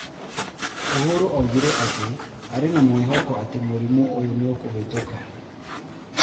Uhuru oigire atĩ arĩ na mwĩvoko atĩ mũrimũ ũyũ nĩ ũkũvĩtũka.